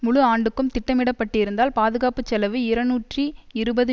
முழு ஆண்டுக்கும் திட்டமிடப்பட்டிருந்தால் பாதுகாப்பு செலவு இறநூற்றி இருபது